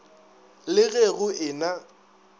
le ge go e na